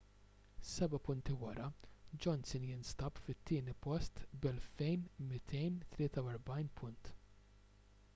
seba’ punti wara johnson jinsab fit-tieni post b’2,243 punt